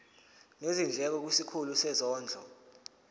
nezindleko kwisikhulu sezondlo